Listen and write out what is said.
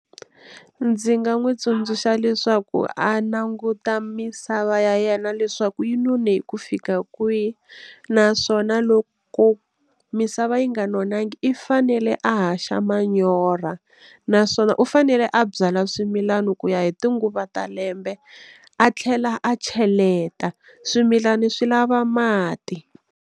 Ndzi nga n'wi tsundzuxa leswaku a languta misava ya yena leswaku yi none hi ku fika kwihi naswona loko misava yi nga nonanga if fanele a haxa manyorha naswona u fanele a byala swimilani ku ya hi tinguva ta lembe a tlhela a cheleta, swimilana swi lava mati.